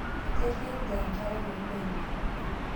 Eterie idia nkerai ombene